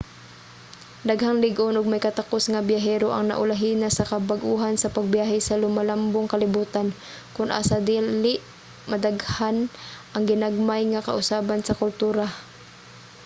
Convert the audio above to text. daghang lig-on og may katakus nga biyahero ang naulahi na sa kabag-uhan sa pagbiyahe sa lumalambong kalibotan kon asa dali modaghan ang ginagmay nga kausaban sa kultura